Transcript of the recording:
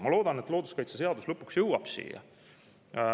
Ma loodan, et looduskaitseseadus lõpuks jõuab siia.